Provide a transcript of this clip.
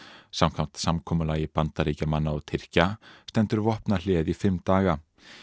samkvæmt samkomulagi Bandaríkjamanna og Tyrkja stendur vopnahléið í fimm daga